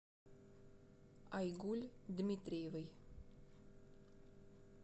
айгуль дмитриевой